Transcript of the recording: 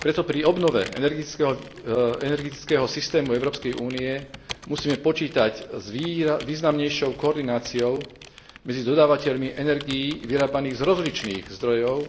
Preto pri obnove energetického systému Európskej únie musíme počítať s významnejšou koordináciou medzi dodávateľmi energií vyrábaných z rozličných zdrojov,